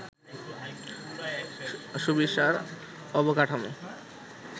সুবিশাল অবকাঠামো